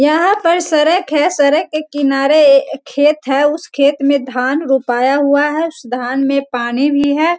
यहाँ पर सड़क है सड़क के किनारे खेत है उस खेत में धान रोपाया हुआ है उस धान में पानी भी है।